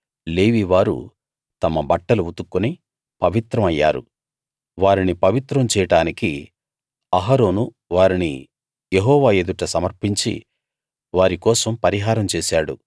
లేవీ వారు తమ బట్టలు ఉతుక్కుని పవిత్రం అయ్యారు వారిని పవిత్రం చేయడానికి అహరోను వారిని యెహోవా ఎదుట సమర్పించి వారి కోసం పరిహారం చేశాడు